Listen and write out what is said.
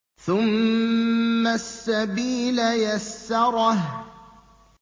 ثُمَّ السَّبِيلَ يَسَّرَهُ